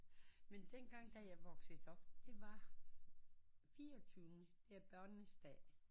Men dengang da jeg vokset op det var fireogtyvende det er børnenes dag